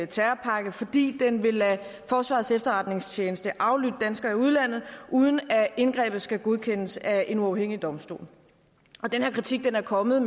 terrorpakke fordi den vil lade forsvarets efterretningstjeneste aflytte danskere i udlandet uden at indgrebet skal godkendes af en uafhængig domstol den her kritik er kommet